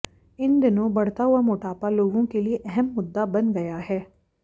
इन दिनों बढ़ता हुआ मोटापा लोगों के लिए अहम मुद्दा बन गया है